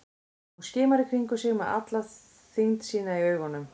Hún skimar í kringum sig með alla þyngd sína í augunum.